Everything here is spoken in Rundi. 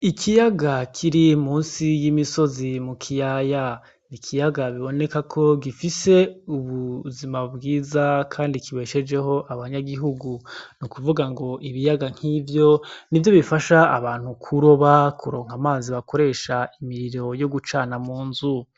Ikiyaga kiri musi y'imisozi mu kiyaya, ikiyaga biboneka ko gifise ubuzima bwiza kandi kibeshejeho abanyagihugu, ni ukuvuga ngo ibiyaga nkivyo nivyo bifasha abantu kuroba amazi bakoresha imiriro yo gucana mu nzu.